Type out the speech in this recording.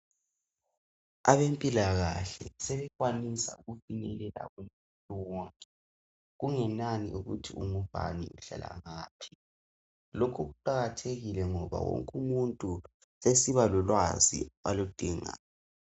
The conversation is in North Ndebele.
Abempilakahle sebekwanisa ukufinyelela kumuntu wonke kungenani ukuthi ungubani uhlala ngaphi lokhu kuqakathekile ngoba wonke umuntu sesiba lolwazi aludingayo.